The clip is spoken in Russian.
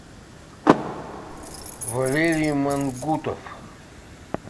валерий мангутов